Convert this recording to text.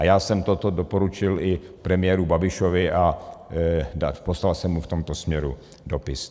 A já jsem toto doporučil i premiéru Babišovi a poslal jsem mu v tomto směru dopis.